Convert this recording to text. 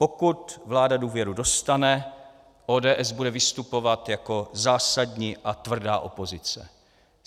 Pokud vláda důvěru dostane, ODS bude vystupovat jako zásadní a tvrdá opozice.